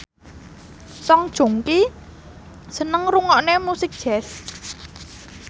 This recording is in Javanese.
Song Joong Ki seneng ngrungokne musik jazz